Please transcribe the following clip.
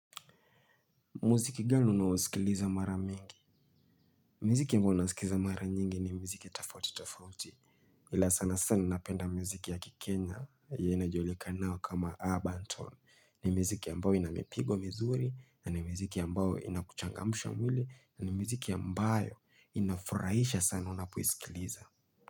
Muziki gani unasikiliza mara mingi. Muziki ambao nasikiza mara nyingi ni mziki tofauti tofauti. Ila sana sana napenda muziki ya kikenya yenye inajulikana kama urban tone ni miziki ambao ina mipigo mizuri na ni miziki ambao inakuchangamsha mwili na ni mziki ambayo inafurahisha sana unapoisikiliza.